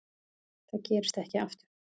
Það gerist ekki aftur.